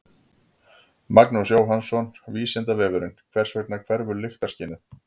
Magnús Jóhannsson: Vísindavefurinn: Hvers vegna hverfur lyktarskynið?